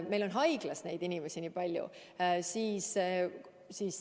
Meil on haiglas neid inimesi nii palju.